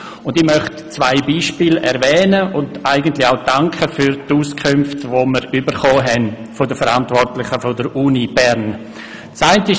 Ich möchte zwei Beispiele erwähnen, und mich auch für die Auskünfte bedanken, die wir dazu von den Verantwortlichen der Universität Bern erhalten haben.